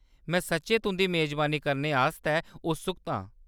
में सच्चैं तुंʼदी मेजबानी करने आस्तै उत्सुक आं।